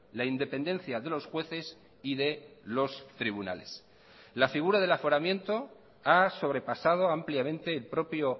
la independencia de los jueces y de los tribunales la figura del aforamiento ha sobrepasado ampliamente el propio